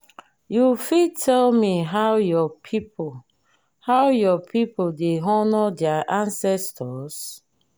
you fit tell me how your people how your people dey honour their ancestors?